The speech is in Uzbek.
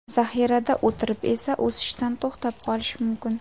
Zaxirada o‘tirib esa, o‘sishdan to‘xtab qolish mumkin.